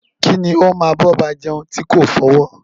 Kí ni o máa bọba jeun ti ko fọwọ́?